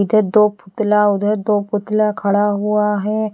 इधर दो पुतला उधर दो पुतला खड़ा हुआ है।